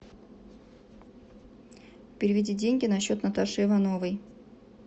переведи деньги на счет наташи ивановой